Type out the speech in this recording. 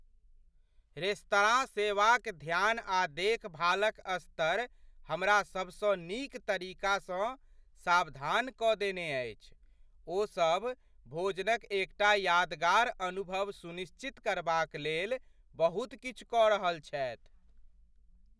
Restaurant सेवाक ध्यान आ देखभालक स्तर हमरा सभसँ नीक तरीकासँ सावधान कऽ देने अछि, ओसभ भोजनक एकटा यादगार अनुभव सुनिश्चित करबाक लेल बहुत किछु कऽ रहल छथि।